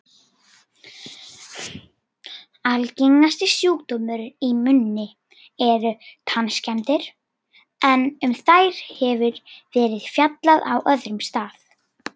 Algengasti sjúkdómurinn í munni eru tannskemmdir, en um þær hefur verið fjallað á öðrum stað.